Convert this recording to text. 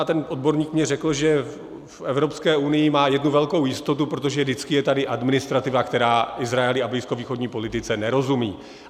A ten odborník mi řekl, že v Evropské unii má jednu velkou jistotu, protože vždycky je tady administrativa, která Izraeli a blízkovýchodní politice nerozumí.